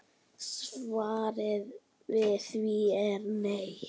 Svarið við því er nei.